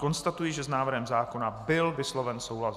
Konstatuji, že s návrhem zákona byl vysloven souhlas.